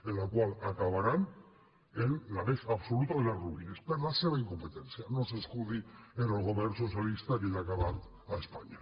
en la qual acabaran en la més absoluta de les ruïnes per la seva incompetència no s’escudi en el govern socialista que ja ha acabat a espanya